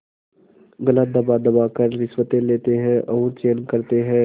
गला दबादबा कर रिश्वतें लेते हैं और चैन करते हैं